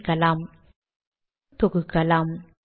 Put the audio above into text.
சேமித்து தொகுக்கலாம்